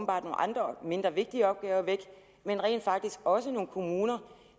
andre mindre vigtige opgaver væk men rent faktisk også de kommuner